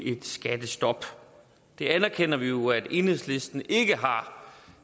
et skattestop det anerkender vi jo at enhedslisten ikke har